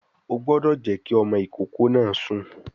O gbọ́dọ̀ jẹ́ kí ọmọ ìkókó náà sùn